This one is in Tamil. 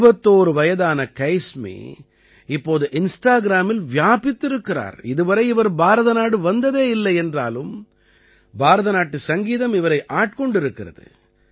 21 வயதான கைஸ்மி இப்பொது இன்ஸ்டாகிராமில் வியாபித்திருக்கிறார் இதுவரை இவர் பாரதநாடு வந்ததே இல்லை என்றாலும் பாரத நாட்டு சங்கீதம் இவரை ஆட்கொண்டிருக்கிறது